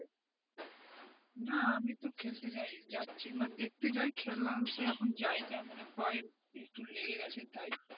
না আমি তো খেলতে যাইনি যাচ্ছি দেখতে যাই খেলাতে এখন যায় না পা এ একটু লেগে গেছে তাই,